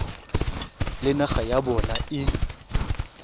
le naga ya bona e